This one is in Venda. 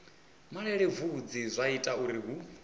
malelebvudzi zwa ita uri hu